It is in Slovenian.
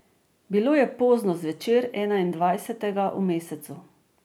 Bilo je pozno zvečer, enaindvajsetega v mesecu.